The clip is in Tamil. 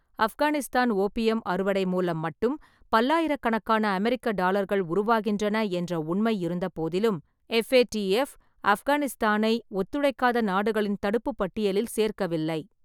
ஆப்கானிஸ்தான் ஓபியம் அறுவடை மூலம் மட்டும் பல்லாயிரக்கணக்கான அமெரிக்க டாலர்கள் உருவாகின்றன என்ற உண்மை இருந்தபோதிலும், எப்ஏடிஎப் ஆப்கானிஸ்தானை ஒத்துழைக்காத நாடுகளின் தடுப்புப்பட்டியலில் சேர்க்கவில்லை.